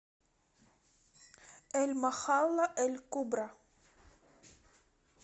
эль махалла эль кубра